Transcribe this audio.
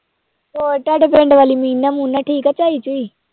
ਹੋਰ ਤੁਹਾਡੇ ਪਿੰਡ ਵਾਲੀ ਮੀਨਾ ਮੂਨਾ ਠੀਕ ਆ ਝਾਈ ਝੂਈ